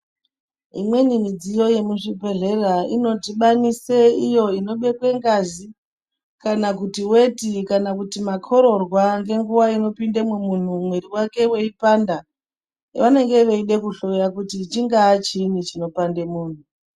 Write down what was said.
Imweni midziyo yemuzvibhedhlera inodhibanise iyo inobekwe ngazi kana kuti weti kana kuti makororwa ngenguwa inopindemwo munthu mwiri wake weipanda vanenge veide kuhloya kuti chingaa chiinyi chinopande munthu.